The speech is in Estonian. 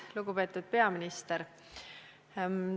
Lugupeetud peaminister!